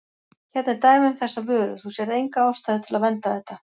Hérna er dæmi um þessa vöru, þú sérð enga ástæðu til að vernda þetta?